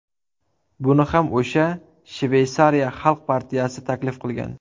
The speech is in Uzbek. Buni ham o‘sha Shveysariya xalq partiyasi taklif qilgan.